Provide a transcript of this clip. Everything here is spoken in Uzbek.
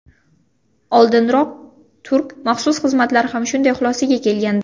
Oldinroq turk maxsus xizmatlari ham shunday xulosaga kelgandi.